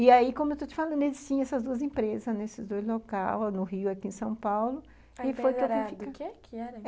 E aí, como eu estou te falando, eles tinham essas duas empresas, nesses dois locais, no Rio e aqui em São Paulo, e foi que eu fiquei.